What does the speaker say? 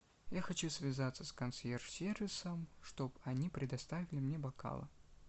я хочу связаться с консьерж сервисом чтобы они предоставили мне бокалы